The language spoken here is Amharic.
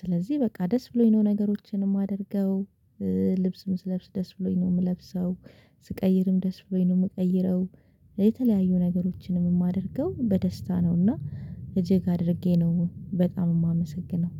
ስለዚህ በቃ ደስ ብሎኝ ነው ነገሮችን የማደርገው ልብስም ስለብስ ደስ ብሎኝ ነው የምለብሰው። ስቀይርም ደስ ብሎኝ ነው የምቀይረው። የተለያዩ ነገሮችንም የማደርገው በደስታ ነው። እና እጅግ አድርጌ ነው በጣም የማመሰግነው